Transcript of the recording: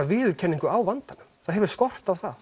viðurkenning á vandanum það hefur skort það